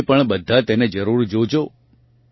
તમે પણ બધાં તેને જરૂર જોજો